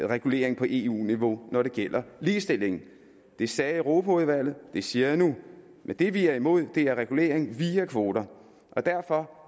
regulering på eu niveau når det gælder ligestilling det sagde europaudvalget det siger jeg nu men det vi er imod er regulering via kvoter og derfor